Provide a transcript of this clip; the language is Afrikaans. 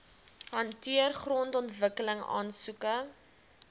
hanteer grondontwikkeling aansoeke